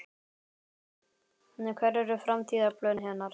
Hver eru framtíðarplön hennar?